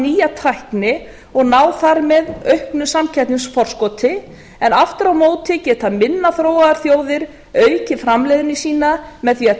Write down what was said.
nýja tækni og ná þar með auknu samkeppnisforskoti en aftur á móti geta minna þróaðar þjóðir aukið framleiðni sína með því